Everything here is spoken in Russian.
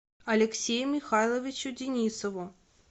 алексею михайловичу денисову